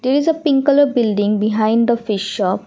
there is a pink colour building behind the fish shop.